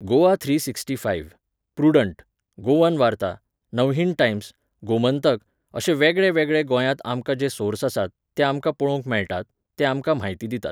Goa three sixty five, Prudent, Goan Varta, Navhind Times, Gomantak अशे वेगळेवेगळे गोंयांत आमकां जे सोर्स आसात, ते आमकां पळोवंक मेळटात, ते आमकां म्हायती दितात.